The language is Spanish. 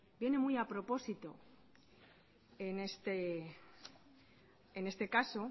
viene muy a propósito en este caso